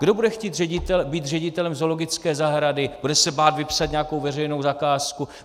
Kdo bude chtít být ředitelem zoologické zahrady, bude se bát vypsat nějakou veřejnou zakázku.